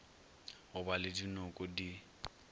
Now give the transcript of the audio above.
go ba le dinoko di